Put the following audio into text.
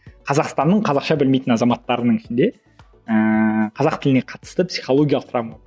қазақстанның қазақша білмейтін азаматтарының ішінде ііі қазақ тіліне қатысты психологиялық травма